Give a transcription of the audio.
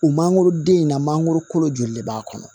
U mangoroden in na mangoro kolo joli de b'a kɔnɔ